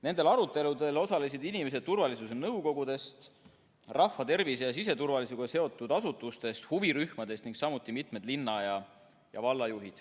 Nendel aruteludel osalesid inimesed turvalisuse nõukogudest, rahvatervise ja siseturvalisusega seotud asutustest, huvirühmadest, samuti mitu linna‑ ja vallajuhti.